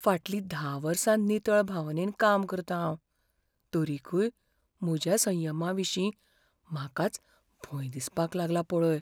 फाटलीं धा वर्सां नितळ भावनेन काम करतां हांव, तरीकय म्हज्या संयमाविशीं म्हाकाच भंय दिसपाक लागला पळय.